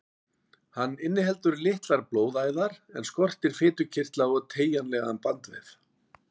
Hann inniheldur litlar blóðæðar en skortir fitukirtla og teygjanlegan bandvef.